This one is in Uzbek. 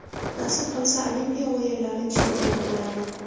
Nasib qilsa Olimpiya o‘yinlari chempioni bo‘laman.